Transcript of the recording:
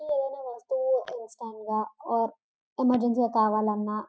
ఏవైనా వస్తువులు ఇన్స్టంట్ గా ఓర ఎమెర్జెన్సీ గా కావాలన్నా --